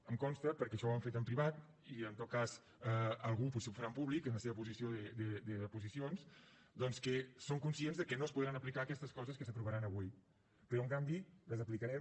em consta perquè això ho hem fet en privat i en tot cas algú potser ho farà en públic en la seva posició d’oposicions doncs que som conscients que no es podran aplicar aquestes coses que s’aprovaran avui però en canvi les aplicarem